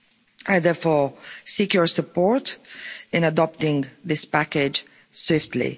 I therefore seek your support in adopting this package swiftly.